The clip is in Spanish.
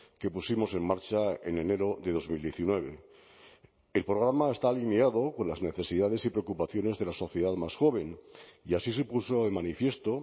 que pusimos en marcha en enero de dos mil diecinueve el programa está alineado con las necesidades y preocupaciones de la sociedad más joven y así se puso de manifiesto